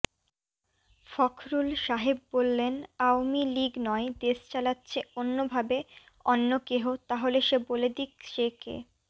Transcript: ফখরুল সাহেব বল্লেন আওমীলিগ নয় দেশ চালাচ্ছে অন্যভাবেঅন্ন কেহ তাহলে সে বলে দিক সে কে